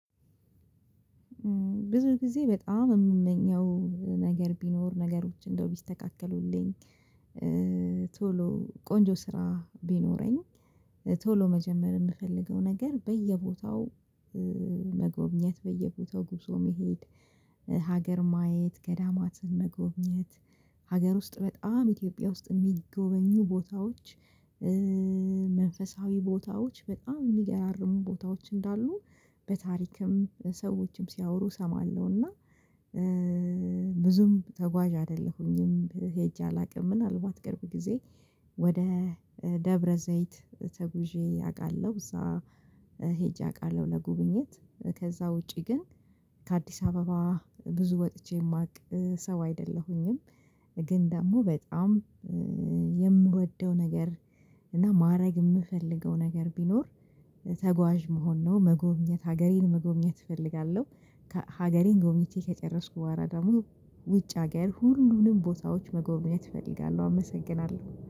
ብዙ ጊዜ በጣም የምመኘው ነገር ቢኖር ነገሮች እንደው ቢስተካከሉልኝ ቶሎ ቆንጆ ስራ ቢኖረኝ፣ ቶሎ መጀመር የምፈልገው ነገር በየቦታው መጎብኘት፣ በየቦታው ጉዞ መሄድ፣ ሀገር ማየት፣ ገዳማትን መጎብኘት፣ ሀገር ውስጥ በጣም ኢትዮጵያ ውስጥ የሚጎበኙ ቦታዎች መንፈሳዊ ቦታዎች በጣም የሚገራርሙ ቦታዎች እንዳሉ በታሪክም ሰዎችም ሲያወሩ እሰማለሁና ብዙም ተጓዥ አይደለሁኝም፤ ሄጄ አላውቅም ምናልባት ቅርብ ጊዜ ወደ ደብረዘይት ተጉዤ አውቃለሁ እዛ አውቃለሁ ለጉብኝት ከዛ ውጪ ግን ከአዲስ አበባ ብዙ ወጥቼ የማቅ ሰው አይደለሁኝም፤ ግን ደግሞ በጣም የምወደው ነገር እና ማድረግ የምፈልገው ነገር ቢኖር ተጓዥ መሆን ነው፤ መጎብኘት ሀገሬን መጎብኘት እፈልጋለሁ፤ ከሀገሬን ጎብኝቴ ከጨረስኩ በኋላ ደግሞ ውጭ ሀገር ሁሉንም ቦታዎች መጎብኘት እፈልጋለሁ። አመሰግናለሁ